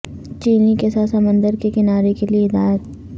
چینی کے ساتھ سمندر کے کنارے کے لئے ہدایت